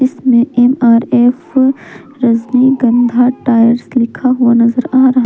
इसमें MRF Rajnigandha tyres लिखा हुआ नजर आ रहा--